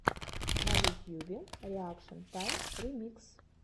на ютьюбе реакшен тайм ремикс